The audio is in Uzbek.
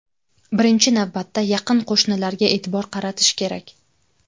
Birinchi navbatda yaqin qo‘shnilarga e’tibor qaratish kerak.